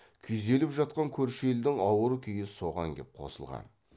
күйзеліп жатқан көрші елдің ауыр күйі соған кеп қосылған